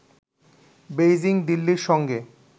Beijing দিল্লির সঙ্গে